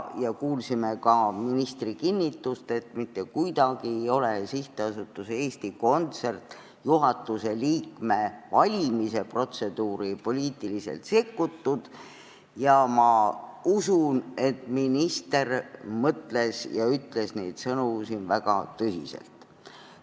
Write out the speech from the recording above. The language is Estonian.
Me kuulsime ka ministri kinnitust, et mitte kuidagi ei ole SA Eesti Kontsert juhatuse liikme valimise protseduuri poliitiliselt sekkutud, ja ma usun, et minister mõtles ja ütles neid sõnu siin väga tõsiselt.